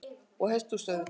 Og hesthús auðvitað.